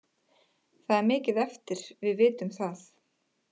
Það er mikið eftir, við vitum það.